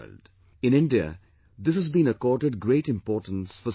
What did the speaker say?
In India, this has been accorded great importance for centuries